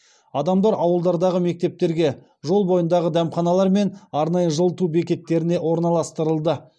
адамдар ауылдардағы мектептерге жол бойындағы дәмханалар мен арнайы жылыту бекеттеріне орналастырылды